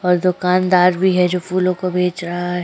और दोकानदार भी है जो फ़ूलों को बेच रहा है।